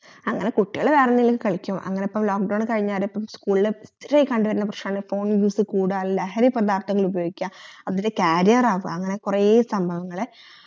അങ്ങനെ കുട്ടിയള് വേറെന്തെലും കളിക്കും അങ്ങനെ ഇപ്പോ lock down കൈനേരം ഇപ്പം school ലിലൊത്തിരി കണ്ടുവരുന്ന പ്രശനമാണ് phone use കൂടാ ലഹരി പദർത്ഥങ്ങള് ഉപയോഗിക അതിന് carrier ആവ അങ്ങനെ കൊറേ സംഭവങ്ങള്